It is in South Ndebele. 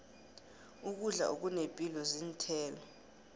ukudla okunepilo zinthelo